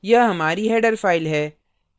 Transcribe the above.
यह हमारी header file है